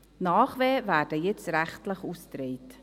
Die Nachwehen werden jetzt rechtlich ausgetragen.